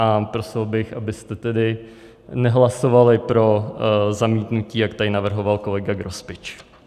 A prosil bych, abyste tedy nehlasovali pro zamítnutí, jak tady navrhoval kolega Grospič.